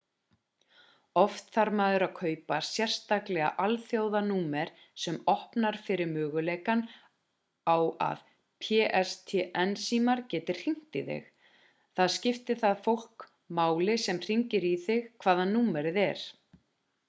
oft þarf maður að kaupa sérstaklega alþjóðanúmer sem opnar fyrir möguleikann að pstn símar geti hringt í þig það skiptir það fólk máli sem hringir í þig hvaðan númerið er